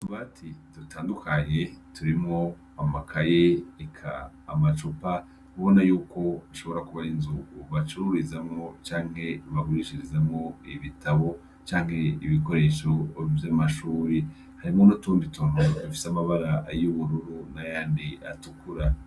Utubati dutandukanye turimwo amakaye, eka amacupa ubona yuko ishobora kuba ari inzu bacururizamwo canke bagurishirizamwo ibitabo canke ibikoresho vy'amashuri. Harimwo n'utundi tuntu dufise amabara y'ubururu n'ayandi atukura.